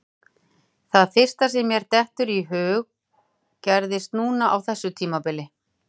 Það fyrsta sem mér dettur í hug gerðist núna á þessu tímabili.